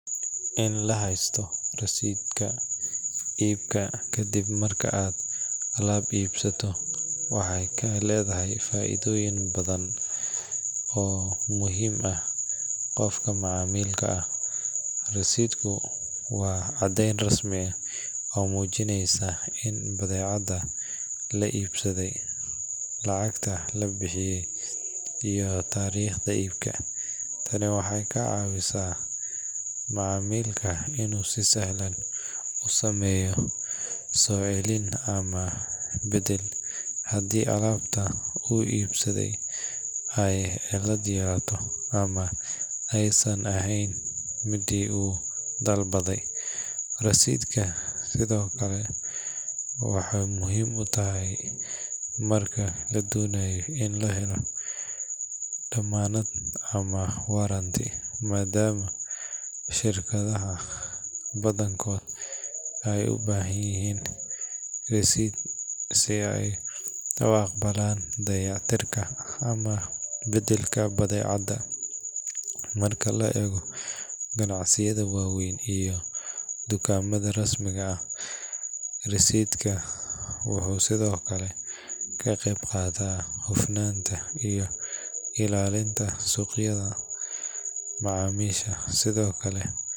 In lahaysto rasiitka iibka waxeey ledahay faaidoyin badan, waa cadeen rasmi ah oo mujineyso in badeecada la ibsade lacagta la bixiye iyo tariiqda, in alabta lasoo celiyo hadii aay cilad yeelato, wuxuu muhiim yahay marka la rabo damaanad, marka la eego ganacsiyada wa weyn wuxuu ka qeyb qaata ilaalinta suuqyada macamiisha.